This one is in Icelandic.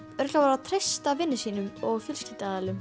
að treysta vinum sínum og